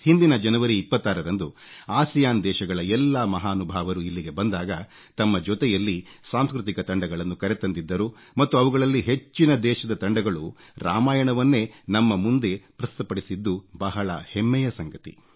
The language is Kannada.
ಹಿಂದಿನ ಜನವರಿ 26 ರಂದು ಆಸಿಯಾನ್ ದೇಶಗಳ ಎಲ್ಲಾ ಮಹಾನುಭಾವರು ಇಲ್ಲಿಗೆ ಬಂದಾಗ ತಮ್ಮ ಜೊತೆಯಲ್ಲಿ ಸಾಂಸ್ಕೃತಿಕ ತಂಡಗಳನ್ನು ಕರೆತಂದಿದ್ದರು ಮತ್ತು ಅವುಗಳಲ್ಲಿ ಹೆಚ್ಚಿನ ದೇಶದ ತಂಡಗಳು ರಾಮಾಯಣವನ್ನೇ ನಮ್ಮ ಮುಂದೆ ಪ್ರಸ್ತುತ ಪಡಿಸಿದ್ದು ಬಹಳ ಹೆಮ್ಮೆಯ ಸಂಗತಿ